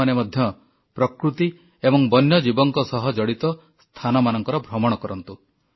ଆପଣମାନେ ମଧ୍ୟ ପ୍ରକୃତି ଏବଂ ବନ୍ୟଜୀବଙ୍କ ସହ ଜଡ଼ିତ ସ୍ଥାନମାନଙ୍କର ଭ୍ରମଣ କରନ୍ତୁ